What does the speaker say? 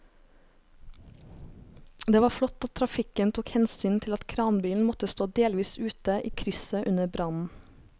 Det var flott at trafikken tok hensyn til at kranbilen måtte stå delvis ute i krysset under brannen.